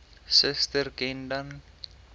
suster ken dan